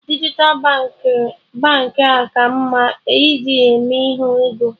Dijital Baankị a ka mma ị ji eme ihe ego?